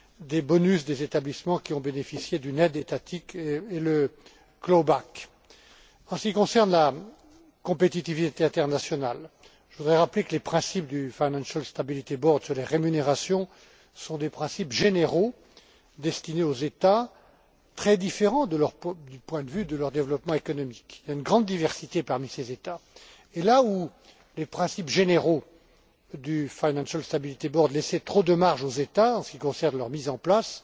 des bonus des établissements qui ont bénéficié d'une aide étatique et le clawback En ce qui concerne la compétitivité internationale, je voudrais rappeler que les principes du Financial Stability Board sur les rémunérations sont des principes généraux destinés aux États, qui présentent d'importantes divergences du point de vue de leur développement économique. Il existe une grande diversité parmi ces États et, là où les principes généraux du Financial Stability Board laissaient trop de marge aux États, en ce qui concerne leur mise en place,